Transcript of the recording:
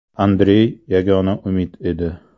Andrey yagona umid edi.